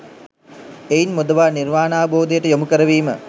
එයින් මුදවා නිර්වාණාවබෝධයට යොමු කරවීම